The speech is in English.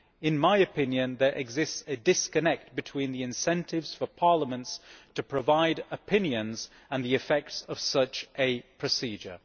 In my opinion, there exists a disconnect between the incentives for parliaments to provide opinions and the effects of such a procedure.